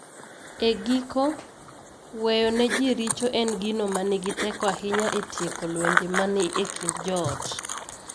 E giko, weyo ne ji richo en gino ma nigi teko ahinya e tieko lwenje ma ni e kind joot.